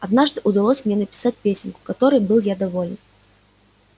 однажды удалось мне написать песенку которой был я доволен